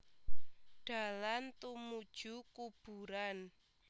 Dalan tumuju kuburan